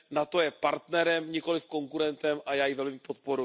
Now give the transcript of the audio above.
NATO je partnerem, nikoliv konkurentem a já ji velmi podporuji.